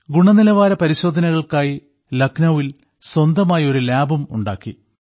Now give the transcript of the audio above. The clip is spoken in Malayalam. ഗുണനിലവാര പരിശോധനകൾക്കായി ലഖ്നൌവിൽ സ്വന്തമായി ഒരു ലാബും ഉണ്ടാക്കി